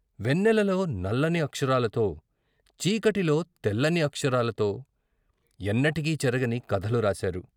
వెన్నె లలో నల్లని అక్షరాలతో, చీకటిలో తెల్లని అక్షరాలతో ఎన్నటికీ చెరగని కథలు రాశారు.